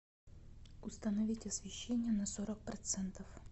установить освещение на сорок процентов